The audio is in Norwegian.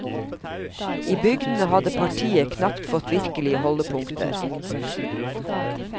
I bygdene hadde partiet knapt fått virkelige holdepunkter.